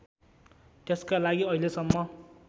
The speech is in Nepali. त्यसका लागि अहिलेसम्म